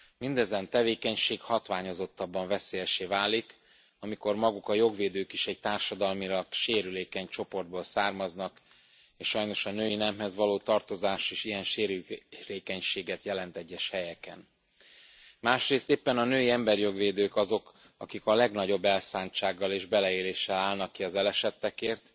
Mindezen tevékenység hatványozottabban veszélyessé válik, amikor maguk a jogvédők is egy társadalmilag sérülékeny csoportból származnak és sajnos a női nemhez való tartozás is ilyen sérülékenységet jelent egyes helyeken. Másrészt éppen a női emberijog védők azok, akik a legnagyobb elszántsággal és beleéléssel állnak ki az elesettekért